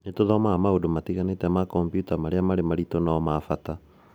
Nĩ tũthomaga maũndũ matiganĩte ma kompiuta marĩa marĩ maritũ no ma bata